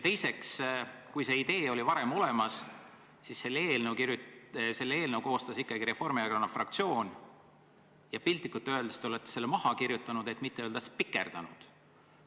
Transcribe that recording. Teiseks, kui see idee oli varem olemas, siis selle eelnõu koostas ikkagi Reformierakonna fraktsioon ja piltlikult öeldes te olete sealt maha kirjutanud, kui mitte öelda, et spikerdanud.